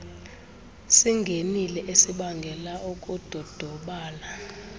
singenile esibangela ukudodobala